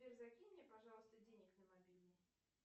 сбер закинь мне пожалуйста денег на мобильный